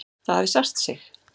Það hafi sært sig.